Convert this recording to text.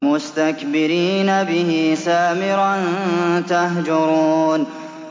مُسْتَكْبِرِينَ بِهِ سَامِرًا تَهْجُرُونَ